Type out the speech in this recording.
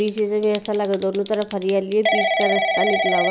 पीछे से भी ऐसा लगा दोनों तरफ हरियाली है बीच का रस्ता निकाला हुआ --